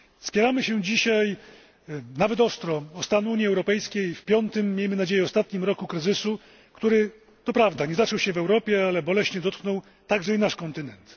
Spieramy się dzisiaj nawet ostro o stan Unii Europejskiej w piątym i, miejmy nadzieję, ostatnim roku kryzysu, który to prawda nie zaczął się w Europie, ale boleśnie dotknął także i nasz kontynent.